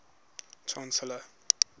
chancellors